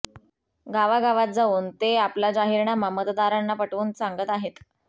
गावागावात जाऊन ते आपला जाहीरनामा मतदारांना पटवून सांगत आहेत